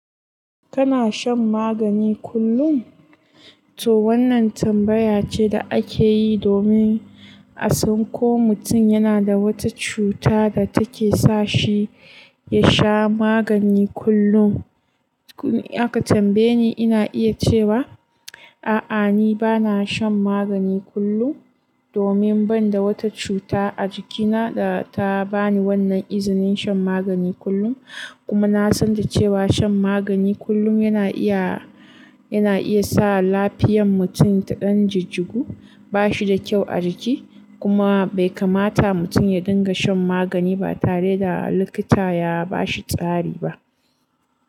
Kana shan magani kullum? To wannan tambaya ce da ake yi domin a san ko mutum yana da wata cuta da take sa shi ya sha magani kullum. Koni aka tambaye ni, ina iya cewa a'a, ni ba na shan magani kullum domin ban da wata cuta a jikina da ta ba ni wannan izinin shan magani kullum. Kuma na san cewa shan magani kullum yana iya, yana iya sa lafiyan mutum ta ɗan jijigu, ba shi da kyau a jiki. Kuma bai kamata mutum ya dinga shan magani ba tare da likita ya ba shi tsari ba.